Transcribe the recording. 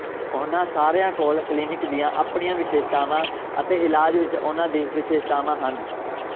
ਉਨ੍ਹਾਂ ਸਾਰਿਆਂ ਕੋਲ ਕਲੀਨਿਕ ਦੀਆਂ ਆਪਣੀਆਂ ਵਿਸ਼ੇਸ਼ਤਾਵਾਂ ਅਤੇ ਇਲਾਜ ਵਿਚ ਉਨ੍ਹਾਂ ਦੀ ਵਿਸ਼ੇਸ਼ਤਾਵਾਂ ਹਨ